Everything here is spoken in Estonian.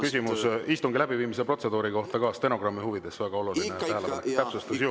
Küsimus istungi läbiviimise protseduuri kohta, stenogrammi huvides väga oluline täpsustus ju.